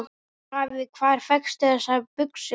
Afi, hvar fékkstu þessar buxur?